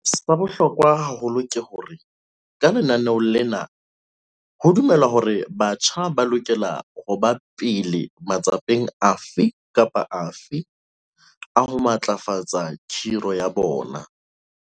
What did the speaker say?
Sa bohlokwa haholo ke hore ka lenaneo lena ho dumelwa hore batjha ba lokela ho ba pele matsapeng afe kapa afe a ho matlafatsa khiro ya bona.